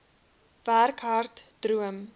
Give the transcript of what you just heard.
werk hard droom